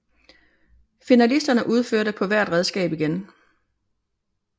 Finalisterne udførte på hvert redskab igen